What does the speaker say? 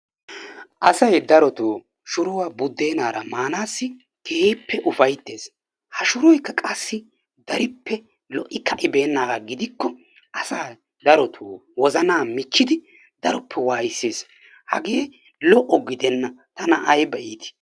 Asay darotoo shuruwa budeenaara maanaassi keehippe ufayttees, ha shuroykka qassi darippe lo'i ka'ibeenaagaa gidikko asa darotoo wozanaa michchidi daroppe waayissees, hagee lo'o gidenna tana ayba iitii?